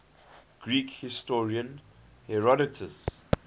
greek historian herodotus